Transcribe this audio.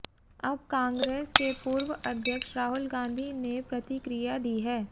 अब कांग्रेस के पूर्व अध्यक्ष राहुल गांधी ने प्रतिक्रिया दी है